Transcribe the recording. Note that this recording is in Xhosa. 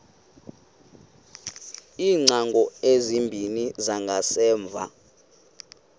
iingcango ezimbini zangasemva